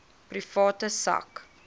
private sak